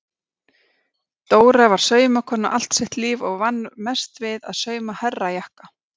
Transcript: Dóra var saumakona allt sitt líf og vann mest við að sauma herrajakka.